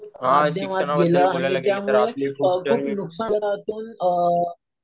माध्यमात गेलं. आणि त्यामुळे खूप नुकसानातून